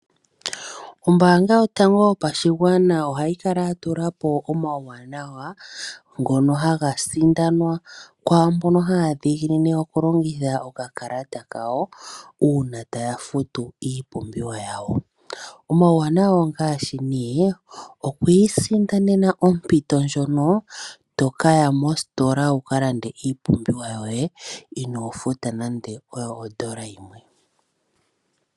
Ombaanga yotango yopashigwana ohayi kala ya tula po omawuwanawa ngono haga sindanwa kwaa mbono haya dhiginine okulongitha okakalata kawo uuna taya futu iipumbiwa yawo. Omawuwanawa ongaashi nee oku isindanena ompito ndjono to ka ya mositola wu ka lande iipumbiwa yoye inoo futa nande oyo odola yimwe.